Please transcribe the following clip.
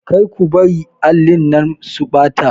Kar ku bari allin nan su ɓata